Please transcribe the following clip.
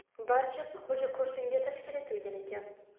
Barchasi xo‘jako‘rsinga tashkil etilgan ekan.